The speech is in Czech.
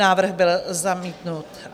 Návrh byl zamítnut.